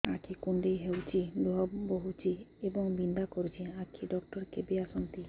ଆଖି କୁଣ୍ଡେଇ ହେଉଛି ଲୁହ ବହୁଛି ଏବଂ ବିନ୍ଧା କରୁଛି ଆଖି ଡକ୍ଟର କେବେ ଆସନ୍ତି